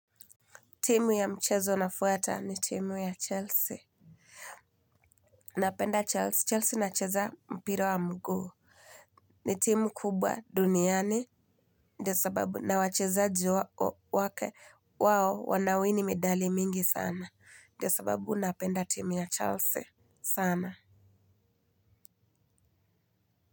Timu ya mchezo nafwata ni timu ya Chelsea. Napenda Chelsea. Chelsea nacheza mpira wa mguu. Ni timu kubwa duniani. Ndio sababu na wachezaji wake wao wanawini medali mingi sana. Ndiyo sababu napenda timu ya Chelsea. Sana.